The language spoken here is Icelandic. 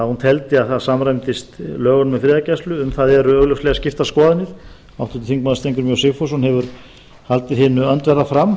hún teldi það samræmast lögum um friðargæslu um það eru augljóslega skiptar skoðanir og hefur háttvirtur þingmaður steingrímur j sigfússon haldið hinu öndverða fram